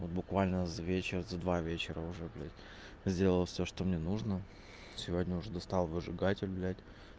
вот буквально за вечер за два вечера уже блять сделал всё что мне нужно сегодня уже достал выжигатель блять